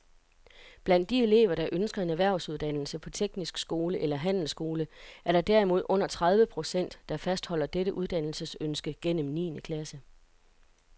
Blandt de elever, der ønsker en erhvervsuddannelse på teknisk skole eller handelsskole, er der derimod under tredive procent, der fastholder dette uddannelsesønske gennem niende klasse.